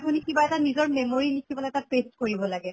আপুনি কিবা এটা নিজৰ memory লিখি পালে তাত paste কৰিব লাগে